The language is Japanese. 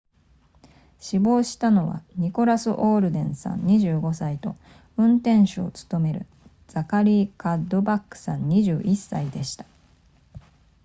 死亡したのはニコラスオールデンさん25歳と運転手を務めるザカリーカッドバックさん21歳でした